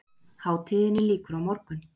Hátíðinni lýkur á morgun